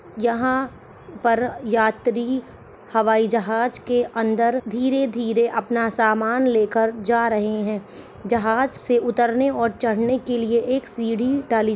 यहां पर यात्री हवाई जहाज के अंदर धीरे-धीरे अपना सामान लेकर जा रहे हैं जहाज से उतरने और चढ़ने के लिए एक सीढ़ी डाली